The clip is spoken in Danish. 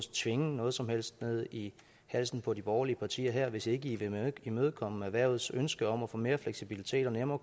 tvinge noget som helst ned i halsen på de borgerlige partier her hvis ikke i vil imødekomme erhvervets ønske om at få mere fleksibilitet og nemmere